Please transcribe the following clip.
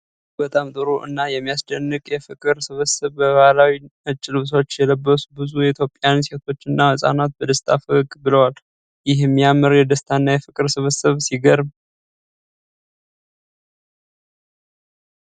እጅግ በጣም ጥሩ እና የሚያስደንቅ የፍቅር ስብስብ! በባህላዊ ነጭ ልብሶች የለበሱ ብዙ ኢትዮጵያውያን ሴቶችና ሕጻናት በደስታ ፈገግ ብለዋል። ይህ የሚያምር የደስታና የፍቅር ስብስብ ሲገርም!